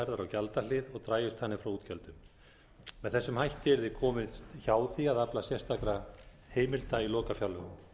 gjaldahlið og dragist þannig frá útgjöldum með þessum hætti yrði komist hjá því að afla sérstakra heimilda í lokafjárlögum